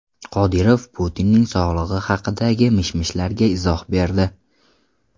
Qodirov Putinning sog‘lig‘i haqidagi mish-mishlarga izoh berdi.